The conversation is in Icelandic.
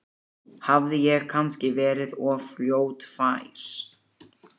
Hafði ég kannski verið of fljótfær?